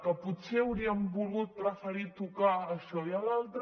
que potser hauríem volgut preferir tocar això i allò altre